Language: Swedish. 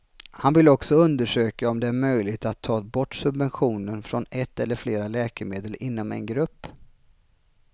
Han vill också undersöka om det är möjligt att ta bort subventionen från ett eller flera läkemedel inom en grupp.